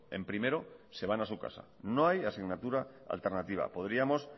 en primero se van a su casa no hay asignatura alternativa podríamos